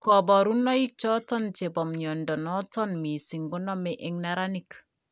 kabarunaik choton chebo mnyondo noton missing koname en neranik